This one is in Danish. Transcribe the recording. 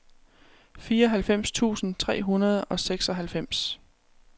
fireoghalvfems tusind tre hundrede og seksoghalvfems